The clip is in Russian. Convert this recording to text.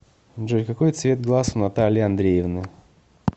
джой какой цвет глаз у натальи андреевны